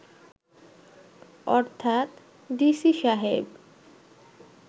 অর্থাৎ ডিসি সাহেব